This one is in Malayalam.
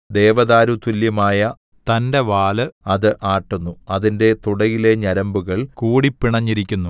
ദേവദാരുതുല്യമായ തന്‍റെ വാല് അത് ആട്ടുന്നു അതിന്‍റെ തുടയിലെ ഞരമ്പുകൾ കൂടിപിണഞ്ഞിരിക്കുന്നു